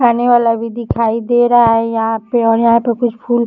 खाने वाला भी दिखाई दे रहा है यहाँ पे और यहाँ पे कुछ फूल --